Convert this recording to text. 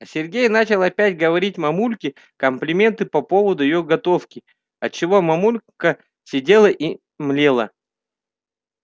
а сергей начал опять говорить мамульке комплименты по поводу её готовки от чего мамулька сидела и млела